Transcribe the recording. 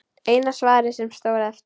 Eina svarið sem stóð eftir.